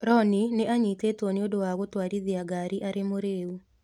Rooney nĩ anyitĩtwo nĩ ũndũ wa gũtwarithia ngari arĩ mũrĩĩu